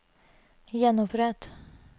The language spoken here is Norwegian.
gjenopprett